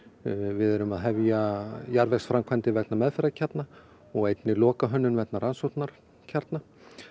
við erum að hefja jarðvegsframkvæmdir vegna meðferðarkjarna og einnig lokahönnun vegna rannsóknarkjarna